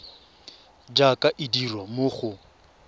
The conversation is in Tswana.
jaaka e dirwa mo go